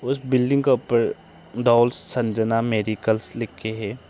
इस बिल्डिंग के ऊपर डॉल संजना मेडिकल्स लिख के है।